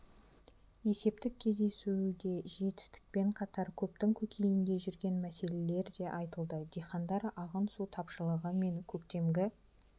есептік кездесуде жетістікпен қатар көптің көкейінде жүрген мәселелер де айтылды дихандар ағын су тапшылығы мен көктемгі